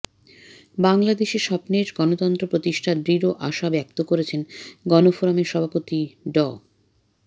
বাংলাদেশে স্বপ্নের গণতন্ত্র প্রতিষ্ঠার দৃঢ় আশা ব্যক্ত করেছেন গণফোরামের সভাপতি ড